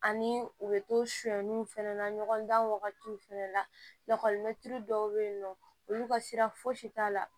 Ani u bɛ to sonyaniw fɛnɛ na ɲɔgɔn dan wagatiw fɛnɛ latiri dɔw bɛ yen nɔ olu ka sira fosi t'a la